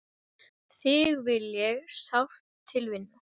Þig vil ég sárt til vinna.